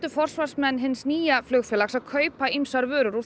forsvarsmenn hins nýja flugfélags kaupa ýmsar vörur úr